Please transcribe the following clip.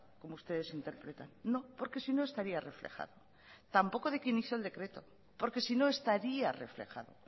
como ustedes interpretan no porque sino estaría reflejado tampoco de quien hizo el decreto porque sino estaría reflejado